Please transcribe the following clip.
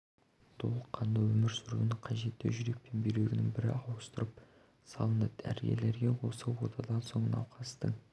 толыққанды өмір сүруіне қажетті жүрек пен бүйрегінің бірі ауыстырып салынды дәрігерлер осы отадан соң науқастың